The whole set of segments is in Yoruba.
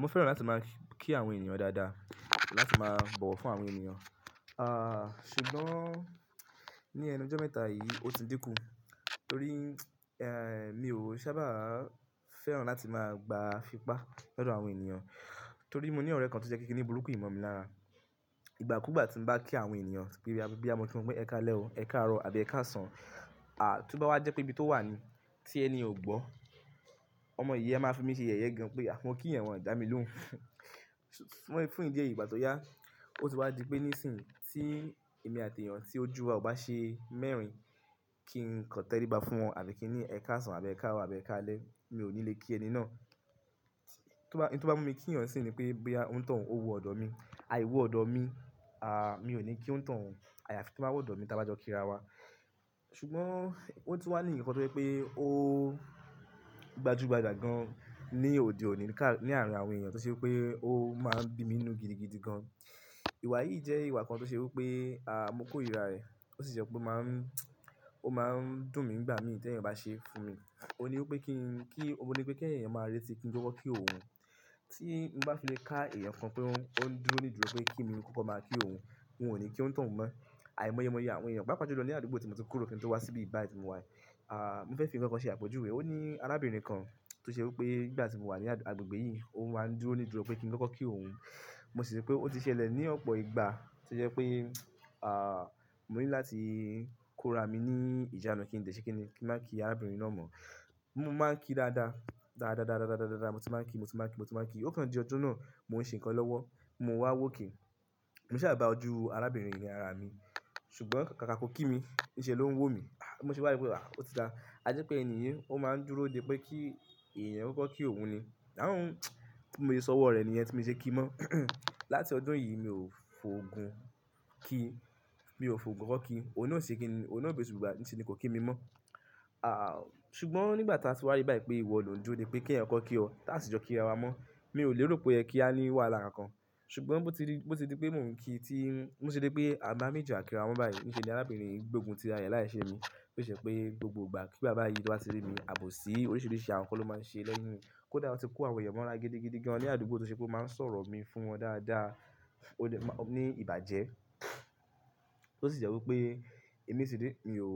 Mo fẹ́ràn láti máa kí àwọn ènìyàn dáadáa, láti máa bọ̀wọ̀ fún àwọn ènìyàn. Ah, ṣùgbọ́n ní ẹnu ọjọ́ mẹ́ta yìí ó ti dínkù torí, ẹ́, mi ò sábà fẹ́ràn láti máa gba fi pá lọdọ àwọn ènìyàn. Torí mo ní ọ̀rẹ́ kan tó jẹ́ kíkin ní burúkú ìmọ̀ mi lára. Ìgbàkúùgbà tí mo bá kí àwọn ènìyàn, pé bóyá mọ̀ ki won pe ẹ káalẹ́ o, ẹ káàárọ̀ àbí ẹ káàsán, aà, tó bá wá jẹ́ pé ibi tó wà ní tí ẹni ò gbọ́, ọmọ yí a máa fi mí ṣe yẹ̀yẹ́ gan pé à mó kí eeyan wọ̀n, dá mi lóhùn. Fún ìdí èyí ìgbà tó yá ó ti wá di pé nísìnyìí tí èmi àti èèyàn tí ójú wa ò bá ṣe mẹ́rin kí n kọam tẹ́ríbá fún wọn àbí kí ní ẹ káàsán àbí ẹ káàárọ̀ àbí ẹ káalẹ́ mi ò ní lè kí ẹni náà. To bá, ohun tó bá mú mi kí èèyàn nisìyin ní pé boya ónitoun, ó wo ọ̀dọ̀ mi. Àìwo ọ̀dọ̀ mi, à, mi ò ní kí ónitohun. Àyàfi í tó bá wọ ọ̀dọ̀ mi ta bá jọ kíra wa. Ṣùgbọ́n ó tún wá ni èèyàn kan tó jẹ́ pé ó gbajúgbajà gan ní òde òní ká-- ní àárín àwọn ènìyàn tó ṣe wí pé ó máa ń bi mí inú gidigidi gan. Ìwà yìí jẹ́ ìwà kan tó ṣe wí pé, à, mo korira ìrẹ̀. Ó sì jẹ́ pé ó máa ń, ó máa ń dùn mí nígbà mí tí ẹ̀èèyàn bá ṣe fún mi. Óun ní wí pé kí n, kí-- óun ni wípé kí ẹ̀eyàn máa rẹ́ti kí n kọ́kọ́ kí òun. Tí n bá fi lè ká èèyàn kan pé ó ń, ó ń dúró nídùúró pé kí emi kọ́kọ́ máa kí òun, mi ò ní kí óńitoun mọ́. Àì mọyemoye àwọn èèyàn. Pàápàá julọ ní àdúgbò tí mo ti kúrò kí n tó wá sí ibi yi báyìí tí mo wà, à, mo fẹ́ fín ǹkan kan ṣe àpèjúwe. Ó ní arábìnrin kan tó ṣe wí pé nìgbà tí mo wà ní àgbègbè yìí ó máa ń dúró nídùúró pé kí n kọ́kọ́ kí òun. Mo sì rí pé ó ti ṣẹlẹ̀ ní ọ̀pọ̀ ìgbà tí ó jẹ́ pé, à, mo ní láti kó ra mi ní ìjánu kí n dé ṣe kí ni, kí n máa kí arábìnrin náà mọ́. Mo máa ń kí dáadáa. Dáadáa dáadáa dáadáa. Mo ti máa ń kí, mo ti máa ń kí, mo ti máa ń kí. Ó kan di ọjọ́ náà mò ń ṣe ǹkan lọ́wọ́, mo wá wòke. Mo ṣàa bà ojú arábìnrin yi ni arà mi ṣùgbọ́n kàkà ki o kí mi níṣẹ́ ló ń wò mí. Bí mo se wá ri wípé, a, ó ti dáa. A jẹ́ pé ènì yìí ó máa ń dúró de pé kí èèyàn ò kọ́kọ́ kí òun ni. Àún, mo ti sọ ọwọ́ rẹ̀ níyẹn tí mo ṣe kí mọ́. Láti ọdún yìí mi ò fòògun kí, mi ò fòògun kó kí. Òun náà o sì se kinni, òun náà gbé eṣù gbà níṣe ni kó kí mi mọ́. À, ṣùgbọ́n nígbà tí a ti wá ríi báyìí pé ìwọ ló ń dúró de pé kí ẹ̀èèyàn kó kí ọ, táà sì jọ kíra wa mọ́. Mi ò lè rò pé o yẹ kí á ní wàhálà kánkán. Ṣùgbọ́n bó ti di, bó ti di pé mò ń kí tí n-- bo ti dí pé àwà méjì à kíra wa báyìí. Níṣe ni arábìnrin yìí gbógun tí ara rẹ̀ láìṣe mi. Ó sì jẹ́ pé gbogbo ìgbà kí igbá báyìí tí o bá ti rí mi, àbòsí oríṣiríṣi àwọn nǹkan ló máa ń ṣe lẹ́yìn mi. Kódà ó ti kó àwọn èèyàn mọ́ra gidigidi gan ní àdúgbò tó ṣe pé ó máa ń sọ̀rọ̀ mi fún wọn dáadáa. Ó dè má-- ó ní ìbàjẹ́. Ó sì jẹ́ wí pé èmi sì ré, mi ò,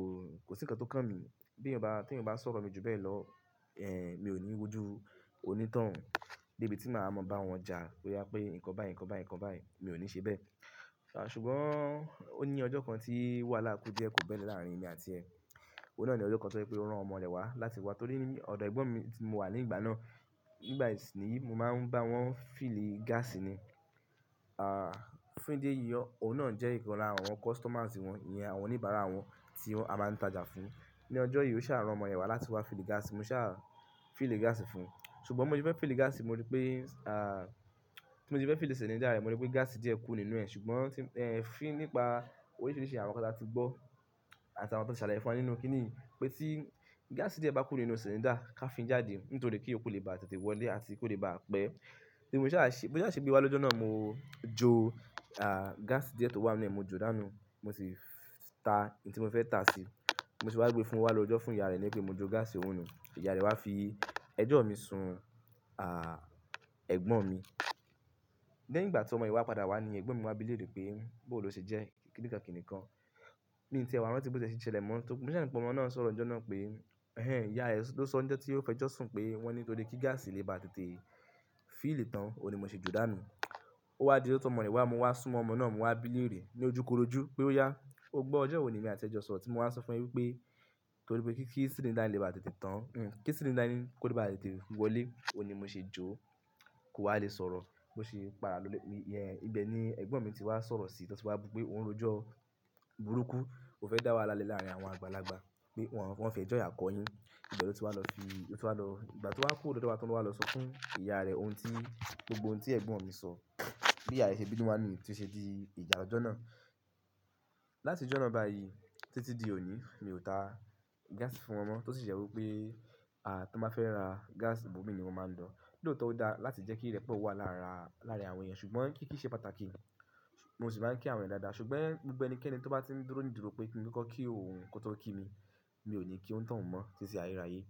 kò sí ǹkan tó kàn mí. Bí ẹ̀èyàn bá wà, tí ẹ̀èèyàn bá sọ̀rọ̀ mi ju bẹ́ẹ̀ lọ, ẹ́, mi ò ní wójú onítọ̀hún. Dé ibi tí màá mọ bá wọn ja bóyá pé ǹkan báyìí, ǹkan báyìí, ǹkan báyìí, mi ò ní ṣe bẹ́ẹ̀. Ṣùgbọ́n ó ní ọjọ́ kan tí wàhálà kú díẹ̀ kò bẹ́ lè láàárín èmi àti ẹ. Òun náà ni ọjọ kàn tó je pé ó rán ọmọ rẹ̀ wá láti wá torí ní ọ̀dọ̀ ẹ̀gbọ́n mi tí mo wà ní ìgbà náà. Nígbà yẹn si niyi mo máa ń bá wọn fìlí gáàsì ni. Ah, fún ìdí èyí ọ́, òun náà jẹ́ ìkan lára àwọn customers wọn, ìyẹn àwọn oníbàárà wọn tí á máa ń tajà fún. Ni ọjọ́ yìí ó sáà rán ọmọ rẹ̀ wá láti wá fìlí gáàsì, mo sáà fìlí gáàsì fún un. Ṣùgbọ́n bi mo ṣe fẹ́ fìlí gáàsì mo rí pé, à, bi mo se fẹ́ fìlí cylinder rẹ̀ mo rí pé gáàsì díẹ̀ kú nínú ẹ̀ ṣùgbọ́n tí, ẹ́, fín nípa oríṣiríṣi àwọn nǹkan tí a ti gbọ́ àti àwọn tí a ti ṣàlàyé fún wa nínú kíni yi pé tí gáàsì díẹ̀ bá kú nínú cylinder ká fin jáde nítorí kí ìyókù lè bá tètè wọlé àti kí ó lè bá pẹ́. Ni mo sáà ṣi, bó sá se gbé wá lọ́jọ́ náà mo jó, à, gáàsì díẹ̀ tó wà nínú ẹ̀ mo jó dànù. Mo sì ta ohun tí mo fẹ́ ta sí i. Bi mo se wá gbé fún o wá lọ rójo fún ìyá rẹ ní pé mo jó gáàsì òun nù. Ìyá rẹ wá fi ẹjọ́ mi sun, à, ẹ̀gbọ́n mi. Lẹ́yìn ìgbà tí ọmọ yí wá padà wá ni ẹ̀gbọ́n mi wá bi léèrè pé bawó ló ṣe jẹ́ kíníkankíníkan. Mi o tí ẹ̀ wá rántí bó tiẹ̀ ṣe ṣẹlẹ̀ mọ́. Tó kù, mo sáà rí pé ọmọ náà ń sọ̀rọ̀ lọ́jọ́ náà pé, "Ẹ̀hẹn, ìyá rẹ ló sọ ni ọjọ́ tí ó fi ẹ́jọ́ ṣùn pé wọ́n ní nítorí kí gáàsì lè bá tètè fìlí tán, òun ni í mo ṣe jó dànù." Ó wá di lójo tí ọmọ rẹ̀ wá, mo wá súnmọ́ ọmọ náà, mo wá bi léèrè ní ojúkorojú pé ó yá. Ń gbọ́ ọjọ́ wò ní èmi àti ẹ jọ sọ̀rọ̀ tí mo wá sọ fún ẹ wípé torí pé kí cylinder lè bá tètè tán, un, kí cylinder yin kó lè bá tètè wọlé, òun ni mo ṣe jó. Kò wá lè sọ̀rọ̀. Bo ṣe n padà ló ilè. Ẹn, ìbẹ́ ni ẹ̀gbọ́n mi tí wá sọ̀rọ̀ sí i tí ó tì wá bú pé òun rójọ́ burúkú. Ó fẹ́ dá wàhálà le láàárín àwọn àgbàlagbà pé wọ́n fẹ́jọ́ iyà kọ yín. Ìbe lo tí wá lọ fi, o tí wá lọ, ìgbà tí o wá kúrò lódo wá tan lọ wà lọ sọ fún ìyá rẹ̀ ohun tí gbogbo ohun tí ẹ̀gbọ́n mi sọ. Bí iya rè ṣe bínú wá nìyẹn tí ó ṣe di ìjà ọ̀jọ́ náà. Láti ojo nàá báyìí títí di òní mi ò ta gáàsì fún wọn mọ́ tó sì jẹ́ wí pé, à, tí wọ́n bá fẹ́ ra gáàsì, ibó mi ni wọ́n máa ń lọ̀. Lòótọ́ ó da láti jẹ́ kí ìrẹ́pọ̀ wà lára- láàárín àwọn èèyàn ṣùgbọ́n kiki ṣe pàtàkì. Mo sì máa ń kí àwọn èèyàn dáadáa, ṣùgbọ́n gbogbo ẹnikẹ́ni to bá ti ń dúró ní ìdúró pé kí n koko kí òun kì o tó kí mi, mi o ni ki onítọ̀hún mo títí ayérayé.